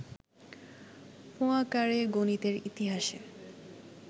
পোয়াঁকারে গণিতের ইতিহাসে